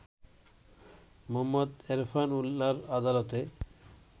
মোহাম্মদ এরফান উল্লাহ'র আদালতে